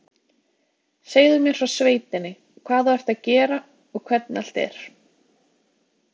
Segðu mér frá sveitinni, hvað þú ert að gera og hvernig allt er